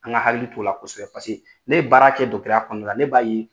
An ŋa hakili t'o la kosɛbɛ paseke ne ye baara kɛ ya kɔnɔna la, ne b'a ye